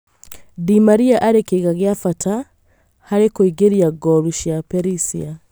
Di Maria arĩ kĩĩga gĩa bata harĩ kũingĩria ngolu cia Perisia